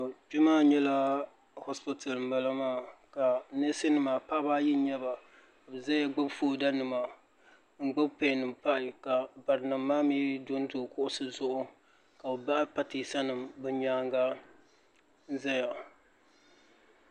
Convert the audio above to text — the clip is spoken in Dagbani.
Kpe maa nyɛla ashipti m bala maa ka neesi nima paɣaba ayi n nyɛba n zaya gbibi fooda nima n gbibi peni m pahi ka barinima maa mee do kuɣusi zuɣu ka bɛ bahi pateesa bɛ nyaanga n zaya.